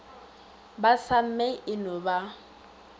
ba samme e no ba